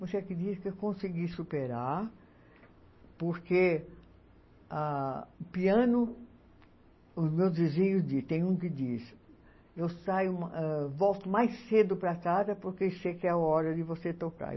Você acredita que eu consegui superar, porque ah o piano, os meus vizinhos dizem, tem um que diz, eu saio, volto mais cedo para casa porque sei que é a hora de você tocar.